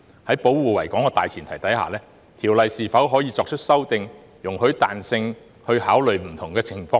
在保護維港的大前提下，《條例》是否可作出修訂、容許彈性，以考慮不同的情況呢？